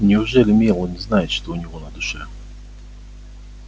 неужели мелани знает что у него на душе